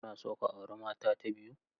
Kuna so ku auri mata ta biyu?